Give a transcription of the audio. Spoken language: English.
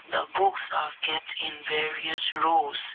the books are kept in various rows.